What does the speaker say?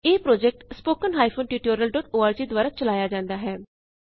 ਇਹ project httpspoken tutorialorg ਦੁਆਰਾ ਚਲਾਇਆ ਜਾਂਦਾ ਹੈ